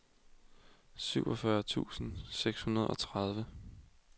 syvogfyrre tusind og seksogtredive